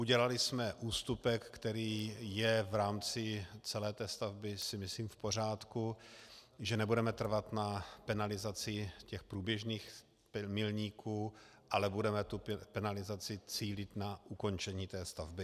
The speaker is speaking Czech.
Udělali jsme ústupek, který je v rámci celé té stavby, myslím si, v pořádku, že nebudeme trvat na penalizaci těch průběžných milníků, ale budeme tu penalizaci cílit na ukončení té stavby.